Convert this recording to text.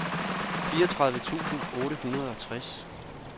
fireogtredive tusind otte hundrede og tres